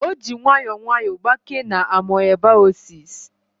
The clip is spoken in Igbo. O ji nwayọọ nwayọọ gbakee na amoebaosis